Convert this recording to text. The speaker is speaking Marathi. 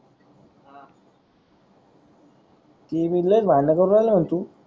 ती विद्लच भांडण करून राहील न तु.